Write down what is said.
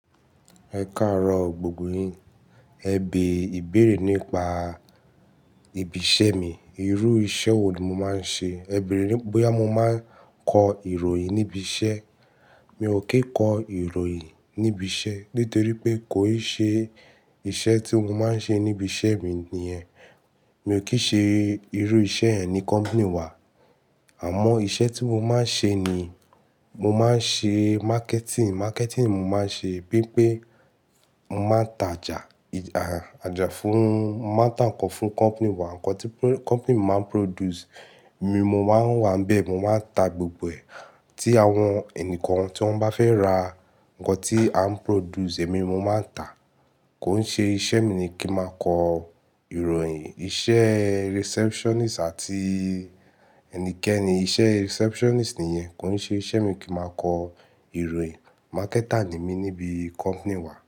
Ẹ káàárọ̀ gbogbo yín. Ẹ bè ìbéèrè nípa ibi iṣẹ́ mi. Irú iṣẹ́ wo ni mo máa ń ṣe? Ẹ bèèrè bóyá mo máa ń kọ ìròyìn níbi iṣẹ́. Mi ò kí ń kọ ìròyìn níbi iṣẹ́ nítorí pé kò ì ṣe iṣẹ́ tí mo máa ń ṣe níbi iṣẹ́ mi ni ẹ́. Mi ò kí ṣe irú iṣẹ́ ẹ ní company wa. Àmọ́ iṣẹ́ tí mo máa ń ṣe ni, mo máa ń ṣe marketing. Marketing mo máa ń ṣe pípé mo máa ń tajà, àjà fún, máa ń tà nǹkan fún company wa, nǹkan tí company máa ń produce. Èmi mo máa ń wà bẹ́ẹ̀, mo máa ń ta gbogbo ẹ̀. Tí àwọn ẹnìkan tí wọ́n bá fẹ́ ra nǹkan tí à ń produce, èmi mo máa ń tà. Kò ń ṣe iṣẹ́ mi ni kí máa kọ ìròyìn. Iṣẹ́ receptionist àti ẹnikẹ́ni, iṣẹ́ receptionist ni yẹn. Kò ń ṣe iṣẹ́ mi kí máa kọ ìròyìn. Marketer ni mí níbi company wa.